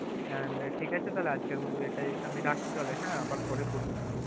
And ঠিক আছে তাহলে আজকের মত এটাই আমি রাখছি তাহলে হ্যাঁ আবার পরে করবো তাহলে।